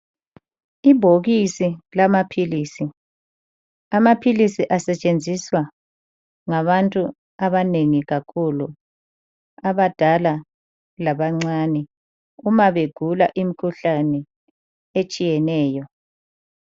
Ibhokisi lamaphilisi. Amaphilisi asetshenziswa ngabantu abanengi kakhulu, abadala labancane uma begula imkhuhlane etshiyeneyo.